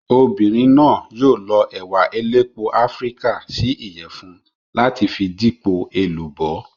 Obìnrin náà yóò lọ ẹ̀wà elépo Áfíríkà sí Ìyẹ̀fun láti fi dípò èlùbọ́.